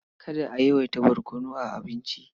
Kada a yawaita barkono a abincin.